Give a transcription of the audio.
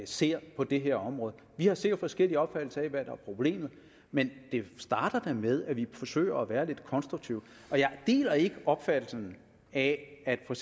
ser på det her område vi har sikkert forskellig opfattelse af hvad der er problemet men det starter da med at vi forsøger at være lidt konstruktive og jeg deler ikke opfattelsen af at for